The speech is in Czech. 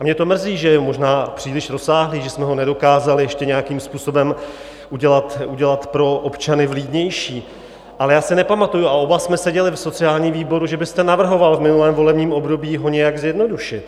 A mě to mrzí, že je možná příliš rozsáhlý, že jsme ho nedokázali ještě nějakým způsobem udělat pro občany vlídnější, ale já si nepamatuji - a oba jsme seděli v sociálním výboru - že byste navrhoval v minulém volebním období ho nějak zjednodušit.